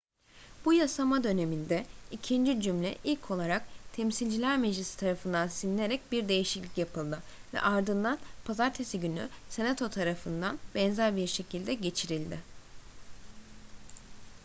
bu yasama döneminde ikinci cümle ilk olarak temsilciler meclisi tarafından silinerek bir değişiklik yapıldı ve ardından pazartesi günü senato tarafından benzer bir şekilde geçirildi